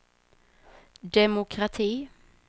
demokrati